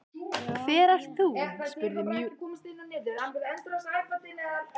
Hver ert þú? spurði mjúk rödd í dyragættinni.